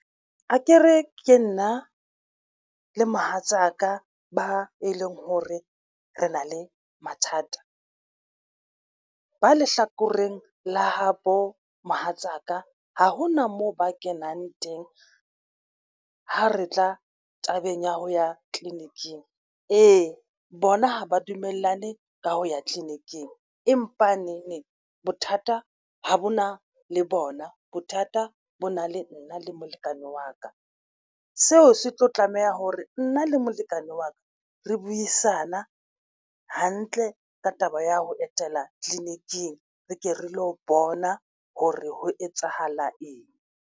Akere ke nna le mohatsaka ba e leng hore re na le mathata ba lehlakoreng la habo mohatsaka ha hona moo ba kenang teng. Ha re tla tabeng ya ho ya tleleniking ee, bona ha ba dumellane ka ho ya tleliniking empa neneng bothata ho bona le bona bothata bo na le nna le molekane wa ka seo se tlo tlameha hore nna le molekane wa ka. Re buisane hantle ka taba ya ho etela tleliniking re ke re lo bona hore ho etsahala eng.